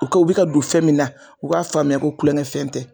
Puruke u be ka don fɛn min na u k'a faamuya ko kulonkɛfɛn tɛ